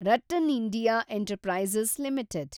RattanIndia enterprises limited